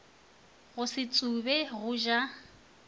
go se tsube go ja